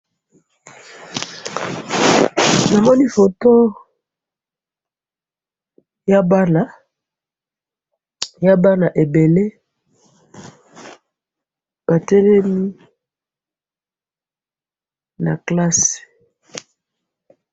namoni photo ya bana ya bana ebele batelemi na classe